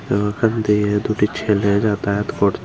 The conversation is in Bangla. এবং ওখান দিয়ে দুটি ছেলে যাতায়াত করছে।